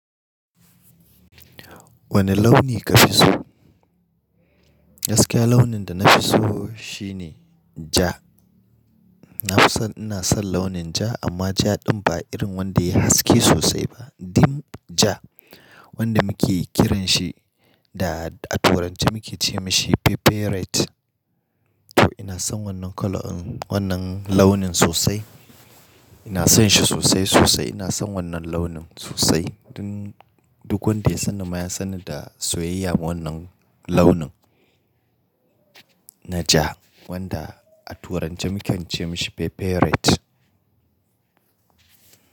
Wane launi ka fi so? Gaskiya launin da na fi so shine ja. Na fi so, ina son launin ja amma ja ɗin ba irin wanda yayi haske sosai ba, dim ja wanda muke kiran shi da a turanci muke ce mishi pepper red. To ina son wannan colour ɗin, wannan launin sosai. Ina son shi sosai sosai. Ina son wannan launin sosai. Duk wanda ya san ni ma ya san ni da soyayya ma wannan launin na ja wanda a turanci muke ce masa pepper red.